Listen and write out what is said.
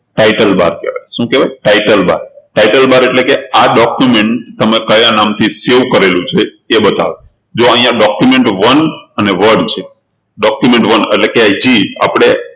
title bar કહેવાય શું કહેવાય title bartitle bar એટલે કે આ document તમે કયા નામ થી save કરેલું છે એ બતાવે જુઓ અહિયાં document one અને word છે document one એટલે કે અહીંથી આપણે